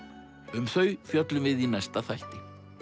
um þau fjöllum við í næsta þætti